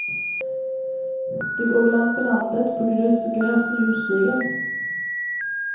Det går väl an på landet, på grus och gräs och djurstigar.